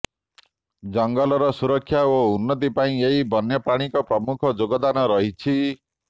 ଜଙ୍ଗଲର ସୁରକ୍ଷା ଓ ଉନ୍ନତି ପାଇଁ ଏହି ବନ୍ୟପ୍ରାଣୀଙ୍କର ପ୍ରମୁଖ ଯୋଗଦାନ ରହିଛି